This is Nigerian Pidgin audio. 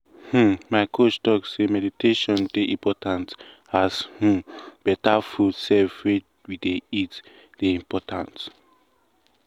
um my coach talk say meditation dey important as umbetter food sef wey we dey eat dey important.